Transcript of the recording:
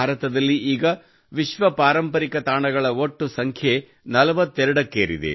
ಭಾರತದಲ್ಲಿ ಈಗ ವಿಶ್ವ ಪಾರಂಪರಿಕ ತಾಣಗಳ ಒಟ್ಟು ಸಂಖ್ಯೆ 42 ಕ್ಕೇರಿದೆ